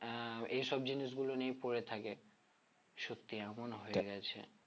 আহ এইসব জিনিসগুলো নিয়ে পড়ে থাকে সত্যি এমন হয়ে গেছে